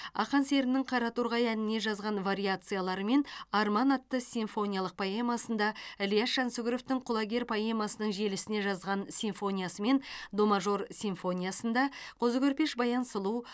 ақан серінің қараторғай әніне жазған вариациялары мен арман атты симфониялық поэмасында ілияс жансүгіровтің құлагер поэмасының желісіне жазған симфониясы мен до мажор симфониясында қозы көрпеш баян сұлу